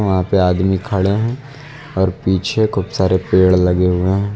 यहाँ पे आदमी खड़े हैं और पीछे खूब सारे पेड़ लगे हुए हैं।